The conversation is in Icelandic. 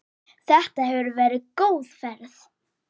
Þetta hefur verið góð ferð.